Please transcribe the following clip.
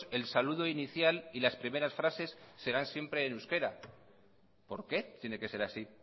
el saludo inicial y las primeras frases serán siempre en euskera por qué tiene que ser así